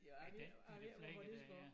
Ja den i knækket dér ja